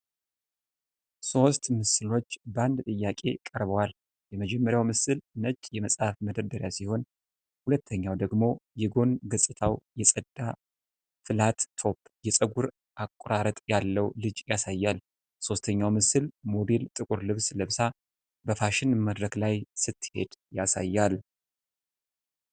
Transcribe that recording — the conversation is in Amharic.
ሦስት ምስሎች በአንድ ጥያቄ ቀርበዋል። የመጀመሪያው ምስል ነጭ የመጻሕፍት መደርደሪያ ሲሆን፣ ሁለተኛው ደግሞ የጎን ገጽታው የጸዳ ፍላትቶፕ የጸጉር አቆራረጥ ያለው ልጅ ያሳያል። ሦስተኛው ምስል ሞዴል ጥቁር ልብስ ለብሳ በፋሽን መድረክ ላይ ስትሄድ ያሳያል።